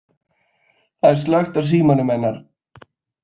Það var slökkt á símanum hennar.